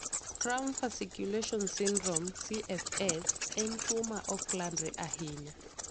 Cramp fasciculation syndrome (CFS) en tuwo ma ok landre ahinya.